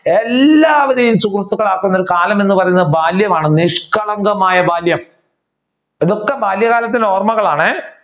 എല്ലാവരെയും സുഹൃത്തുക്കൾ ആക്കുന്ന ഒരു കാലം എന്ന് പറയുന്നത് ബാല്യമാണ്. നിഷ്കളങ്കമായ ബാല്യം. ഇതൊക്കെ ബാല്യ കാലത്തിന്റെ ഓർമ്മകളാണേ.